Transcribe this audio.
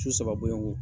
Su saba bɔlen kɔ